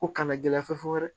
Ko kana gɛlɛya fo dɛ